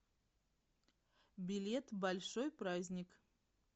билет большой праздник